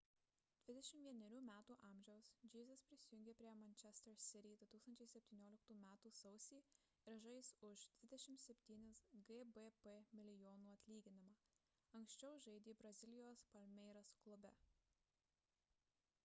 21 metų amžiaus jesus prisijungė prie manchester city 2017 m sausį ir žais už 27 gbp milijonų atlyginimą anksčiau žaidė brazilijos palmeiras klube